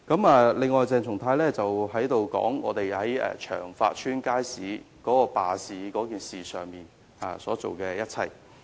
此外，鄭松泰議員提到我們在長發街街市罷市事件上所做的一切。